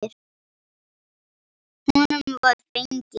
Honum var fengin hún.